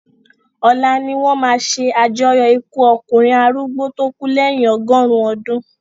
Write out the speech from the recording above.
Ọ̀la ni wọ́n máa se àjọyọ̀ ikú ọkùnrin arúgbó tó kú lèyin ọgọ́rùn-ún ọdún